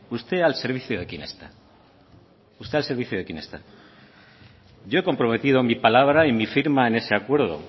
usted al servicio de quién está yo he comprometido mi palabra y mi firma en ese acuerdo